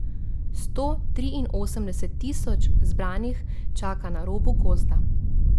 Sto triinosemdeset tisoč zbranih čaka na robu gozda.